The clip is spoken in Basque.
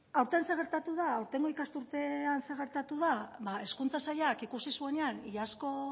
aurten zer gertatu da aurtengo ikasturtean zer gertatu da hezkuntza sailak ikusi zuenean iazko